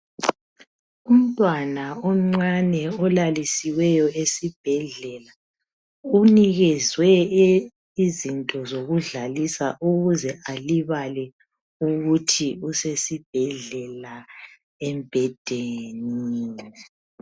Umntwana omncane olalisiweuo esibhedlela unikezwe izinto zokudlalisa ukuze alibale ukuthi usesibhedlela embhedeni.